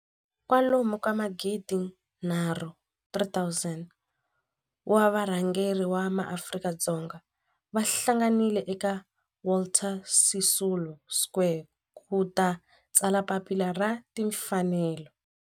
Kwalomu ka magidi nharhu, 3 000, wa varhangeri va maAfrika-Dzonga va hlanganile eka Walter Sisulu Square ku ta tsala Papila ra Tinfanelo.